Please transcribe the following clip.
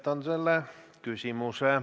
Täpsustav küsimus, Jürgen Ligi, palun!